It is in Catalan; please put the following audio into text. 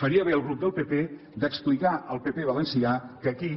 faria bé el grup del pp d’explicar al pp valencià que aquí